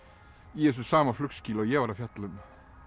í þessu sama flugskýli og ég var að fjalla um